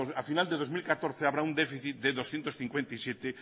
al final del dos mil catorce habrá un déficit de doscientos cincuenta y siete